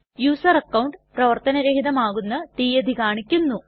user account പ്രവര്ത്തന രഹിതമാകുന്ന തീയതി കാണിക്കുന്നു